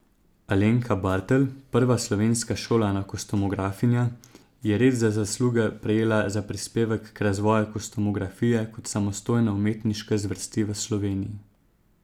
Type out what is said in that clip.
Alenka Bartl, prva slovenska šolana kostumografinja, je red za zasluge prejela za prispevek k razvoju kostumografije kot samostojne umetniške zvrsti v Sloveniji.